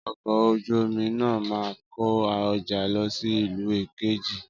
Ọkọ̀ ojú omi náà máa kó ọjà lọ sí ìlú kejì